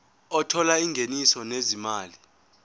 othola ingeniso lezimali